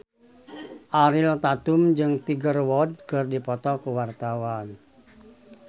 Ariel Tatum jeung Tiger Wood keur dipoto ku wartawan